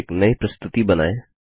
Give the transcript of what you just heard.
एक नई प्रस्तुति बनाएँ